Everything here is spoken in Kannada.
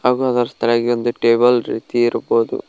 ಹಾಗೂ ಅದರ ತೆಳಗೆ ಒಂದು ಟೇಬಲ್ ರೀತಿ ಇರ್ಬೋದು.